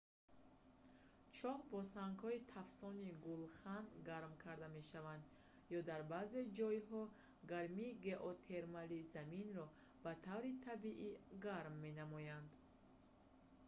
чоҳ ё бо сангҳои тафсони гулхан гарм карда мешавад ё дар баъзе ҷойҳо гармии геотермалӣ заминро ба таври табиӣ гарм менамояд